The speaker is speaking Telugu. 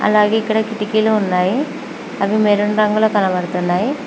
అలాగే ఇక్కడ కిటికీలు ఉన్నాయి అవి మెరూన్ రంగులో కనపడుతున్నాయి.